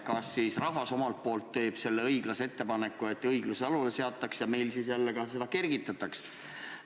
Kas siis rahvas omalt poolt teeb selle ettepaneku, et õiglus jalule seataks ja meil siis jälle seda kergitataks?